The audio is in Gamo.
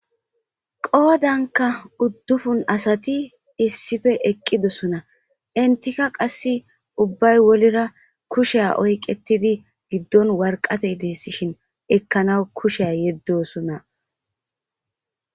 Qoodanka uddufun asati issife eqqidosona intika qasse ubbay wolira kusheya oyqettidi giddon warqatey deessishin ekkana kusheya yeddosona.